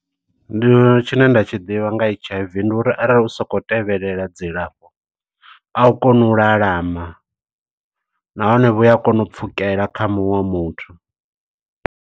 Ndi tshine nda tshi ḓivha nga H_I_V, ndi uri arali u soko tevhelela dzilafho, a u konI u lalama. Nahone vhuya kona u pfukela kha muṅwe muthu.